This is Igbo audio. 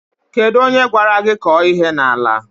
Kedụ onye gwara gị kọọ ihe n'ala a?